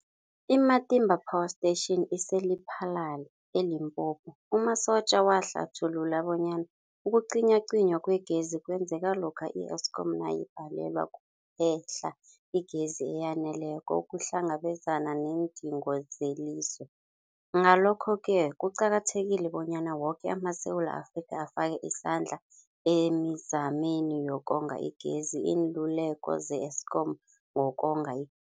I-Matimba Power Station ise-Lephalale, eLimpopo. U-Mabotja wahlathulula bonyana ukucinywacinywa kwegezi kwenzeka lokha i-Eskom nayibhalelwa kuphe-hla igezi eyaneleko ukuhlangabezana neendingo zelizwe. Ngalokho-ke kuqakathekile bonyana woke amaSewula Afrika afake isandla emizameni yokonga igezi. Iinluleko ze-Eskom ngokonga i